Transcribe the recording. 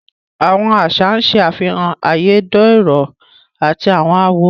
Àwọn aṣa n ṣẹ afihàn ayédérọ̀ àti awọn àwọ̀